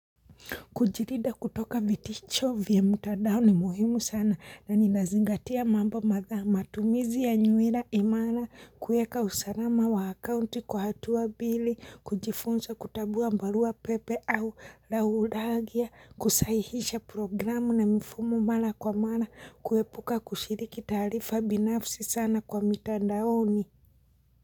Kujirida kutoka vitisho vya mtandao ni muhimu sana na ninazingatia mambo madha matumizi ya nywila imala kueka usalama wa akaunti kwa hatua mbili kujifunza kutambua barua pepe au laulagia kusahihisha programu na mfumo mala kwa mala kuepuka kushiriki tarifa binafsi sana kwa mtandaoni.